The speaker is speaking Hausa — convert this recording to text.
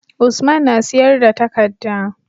Usman na siyar da takadda